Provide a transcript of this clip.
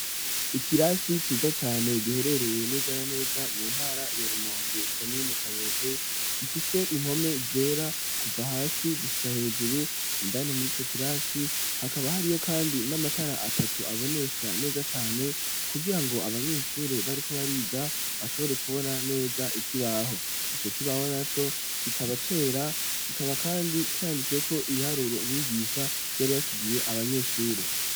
Ikirasi ciza cane giherereye neza na neza mu ntara ya rumonge komune kayokwe, gifise impome zera kuva hasi gushika hejuru indani muri co kirasi hakaba hari iyo kandi n'amatara atatu abonesha neza cane kugira ngo abanyeshure bari ko bariga bashobore kubona neza ikibaho, ico kibaho naco kikaba cera kikaba kandi canditseko ibiharuro umwigisha yari asigiye abanyeshure.